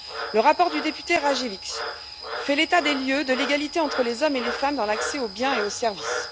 Le rapport de la députée Kozłowska Rajewicz fait l'état des lieux de l'égalité entre les hommes et les femmes dans l'accès aux biens et aux services.